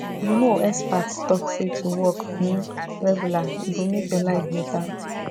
you know experts talk say to walk um regular e go make your life better